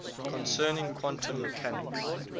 concerning quantum mechanics